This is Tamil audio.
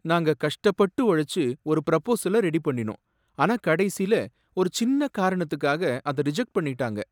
நாங்க கஷ்டப்பட்டு உழைச்சு ஒரு ப்ரபோஸல ரெடி பண்ணினோம், ஆனா கடைசில ஒரு சின்ன காரணத்துக்காக அத ரிஜெக்ட் பண்ணிட்டாங்க.